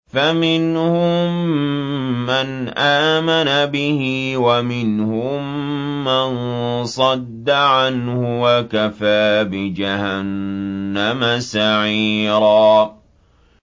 فَمِنْهُم مَّنْ آمَنَ بِهِ وَمِنْهُم مَّن صَدَّ عَنْهُ ۚ وَكَفَىٰ بِجَهَنَّمَ سَعِيرًا